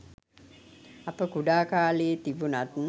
අප කුඩා කාලයේ තිබුණත්